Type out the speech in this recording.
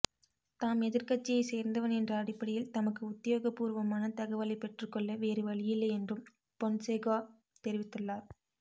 தாம் எதிர்க்கட்சியை சேர்ந்தவன் என்ற அடிப்படையில் தமக்கு உத்தியோகபூர்வமான தகவலை பெற்றுக்கொள்ள வேறு வழியில்லை என்றும் பொன்சேகா தெரிவித்துள்ளார்